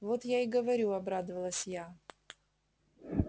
вот я и говорю обрадовалась я